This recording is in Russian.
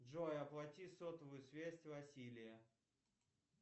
джой оплати сотовую связь василия